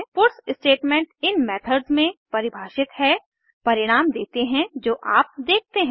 puts statement in methods में परिभाषित है परिणाम देते है जो आप देखते हैं